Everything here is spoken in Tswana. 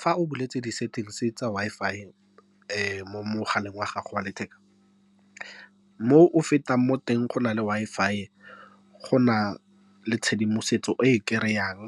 Fa o buletse di-settings tsa Wi-Fi mo mogaleng wa gago wa letheka, mo o fetang mo teng gona le Wi-Fi, gona le tshedimosetso e o e kry-ang